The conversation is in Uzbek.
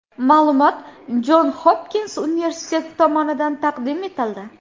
Ma’lumot Jon Hopkins universiteti tomonidan taqdim etildi.